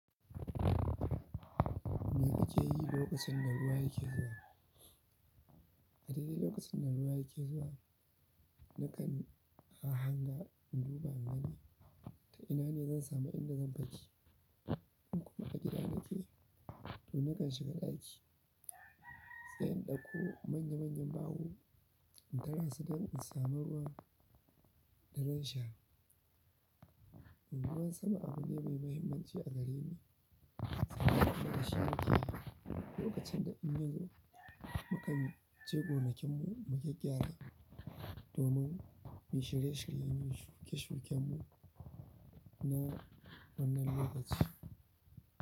Me kake yi lokacin da ruwa yake zuwa? A dare lokacin da ruwa yake zuwa, na kan a hanga in duba in gani ta ina ne zan samu inda zan fake. In kuma a gida nake, to na kan shiga ɗaki sai in ɗauko manya-manyan ɓaho in tara su don in samu ruwan da zan sha. Ruwan sama abu ne mai mahimmanci a gare ni. Da shi ne ke lokacin da in yazo, mukan je gona kin mu mu gyagyara domin mu shirye-shiryen yi shuke-shiken mu na wannan lokaci.